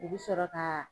U bɛ sɔrɔ ka